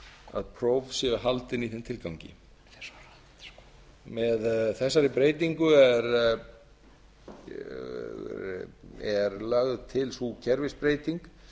að próf séu haldin í þeim tilgangi með þessari breytingu er lögð til sú kerfisbreyting